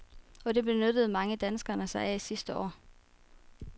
Og det benyttede mange danskere sig af sidste år.